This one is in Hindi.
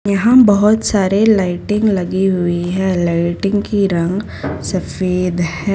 यहां बहोत सारे लाइटिंग लगी हुई है लाइटिंग की रंग सफेद है।